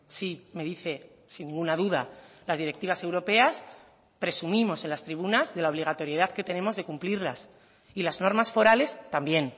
sí me dice sin ninguna duda las directivas europeas presumimos en las tribunas de la obligatoriedad que tenemos de cumplirlas y las normas forales también